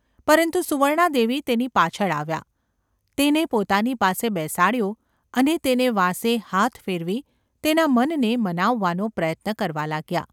પરંતુ સુવર્ણા દેવી તેની પાછળ આવ્યાં, તેને પોતાની પાસે બેસાડ્યો અને તેને વાંસે હાથ ફેરવી તેના મનને મનાવવાનો પ્રયત્ન કરવા લાગ્યાં.